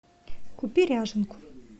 купи ряженку